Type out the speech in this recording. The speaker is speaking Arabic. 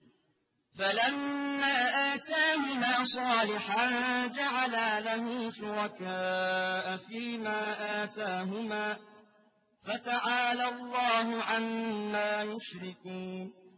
فَلَمَّا آتَاهُمَا صَالِحًا جَعَلَا لَهُ شُرَكَاءَ فِيمَا آتَاهُمَا ۚ فَتَعَالَى اللَّهُ عَمَّا يُشْرِكُونَ